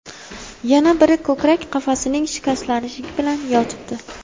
Yana biri ko‘krak qafasining shikastlanishi bilan yotibdi.